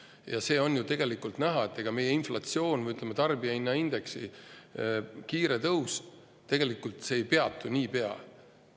Ja see on ju tegelikult näha, et ega meie inflatsioon või, ütleme, tarbijahinnaindeksi kiire tõus ei peatu niipea.